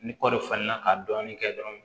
Ni kɔɔri falenna ka dɔɔnin kɛ dɔrɔn